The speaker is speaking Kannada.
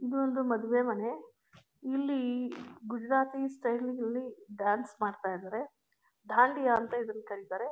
ಇದೊಂದು ಮದುವೇ ಮನೆ ಇಲ್ಲಿ ಗುಜರಾತಿ ಸ್ಟೈಲ್ ನಲ್ಲಿ ಡಾನ್ಸ್ ಮಾಡ್ತಾ ಇದ್ದಾರೆ. ದಾಂಡಿಯಾ ಅಂತ ಇದನ್ನ ಕರೀತಾರೆ.